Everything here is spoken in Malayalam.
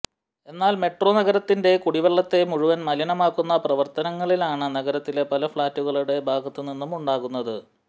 എന്നാൽ മെട്രോ നഗരത്തിന്റെ കുടിവെള്ളത്തെ മുഴുവൻ മലിനമാക്കുന്ന പ്രവർത്തികളാണ് നഗരത്തിലെ പല ഫ്ളാറ്റുകളുടെ ഭാഗത്തു നിന്നും ഉണ്ടാകുന്നത്